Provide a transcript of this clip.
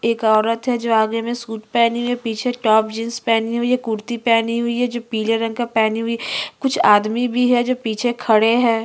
एक औरत है जो आगे में सूट पहनी हुई है पीछे टॉप जीन्स पहनी हुई है कुर्ती पहनी हुई है जो पीले रंग का पहनी हुई कुछ आदमी भी है जो पीछे खड़े है।